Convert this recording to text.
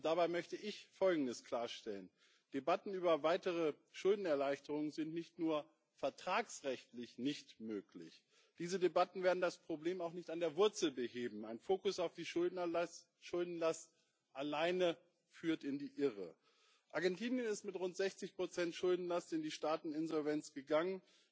Dabei möchte ich Folgendes klarstellen Debatten über weitere Schuldenerleichterungen sind nicht nur vertragsrechtlich nicht möglich, diese Debatten werden das Problem auch nicht an der Wurzel beheben Ein Fokus auf den Schuldenerlass alleine führt in die Irre. Argentinien ist mit rund 60 Schuldenlast in die Staatsinsolvenz gegangen.